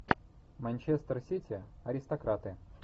манчестер сити аристократы